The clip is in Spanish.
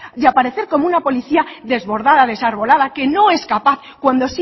y aparecer como una policía desbordada desarbolada que no es capaz cuando